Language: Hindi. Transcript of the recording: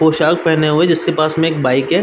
पोशाक पहने हुए हैं जिस के पास में एक बाइक है।